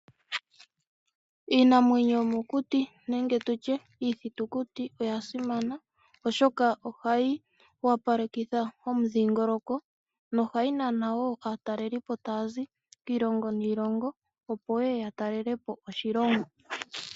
Iinamwenyo yo mokuti nenge tutye Iithitukuti oya simana oshoka ohayi wapalekitha omudhingoloko, no hayi nana woo aatalelipo taya zi kiilongo niilongo opo yeye ya talelepo oshilongo.